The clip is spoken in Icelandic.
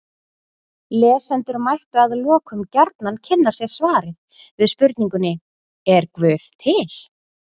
Lesendur mættu að lokum gjarnan kynna sér svarið við spurningunni Er guð til?